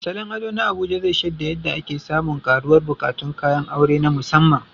Salon ado na Abuja zai shaida yadda ake samun ƙaruwar buƙatun kayan aure na musamman.